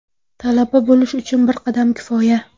Talaba bo‘lish uchun bir qadam kifoya!.